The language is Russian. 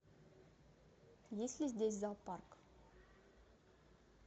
есть ли здесь зоопарк